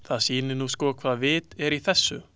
Það sýnir nú sko hvaða vit er í þessu.